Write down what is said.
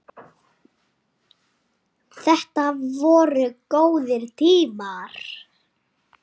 Þetta voru góðir tímar.